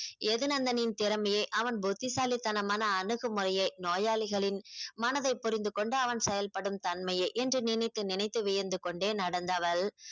எதுநந்தனின் திறமையை அவன் புத்திசாலித்தனமான அணுகுமுறையை நோயாளிகளின் மனதை புரிந்து கொண்டு அவன் செயல்படும் தன்மையை என்று நினைத்து நினைத்து வியந்து கொண்டே நடந்தவள்